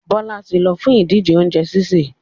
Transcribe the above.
Bọ́lá ti ń lọ fún ìdíje oúnjẹ sísè.